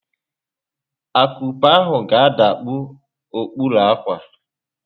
Akupe ahụ ga-adakpu okpuru ákwà